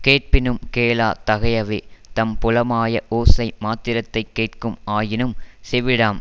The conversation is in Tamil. கேட்பினும் கேளாத் தகையவே தம் புலமாய ஓசை மாத்திரத்தைக் கேட்கும் ஆயினும் செவிடாம்